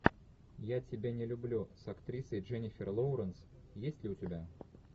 я тебя не люблю с актрисой дженнифер лоуренс есть ли у тебя